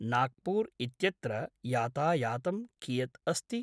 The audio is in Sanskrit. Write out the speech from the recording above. नाग्पूर् इत्यत्र यातायातं कियत् अस्ति?